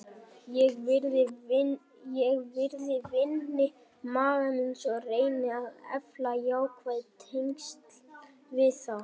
Ég virði vini maka míns og reyni að efla jákvæð tengsl við þá.